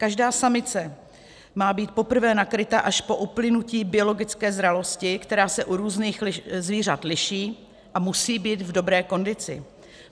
Každá samice má být poprvé nakryta až po uplynutí biologické zralosti, která se u různých zvířat liší, a musí být v dobré kondici.